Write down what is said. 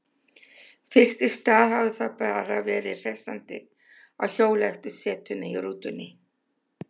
Fyrst í stað hafði það bara verið hressandi að hjóla eftir setuna í rútunni.